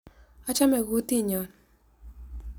Achame kutinyo.